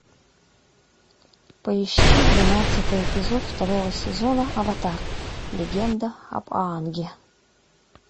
поищи двенадцатый эпизод второго сезона аватар легенда об аанге